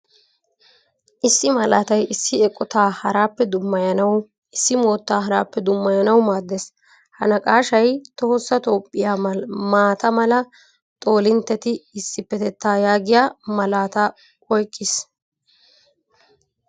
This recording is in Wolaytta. Issi malatay issi eqqotta harappe dummayanawu, issi moottaa harappe dumayanawu maaddees. Ha naqashshay tohossa toophphiyaa maataa mala xoolinttetti issipetta yaagiyaa malaataa oyqqiis.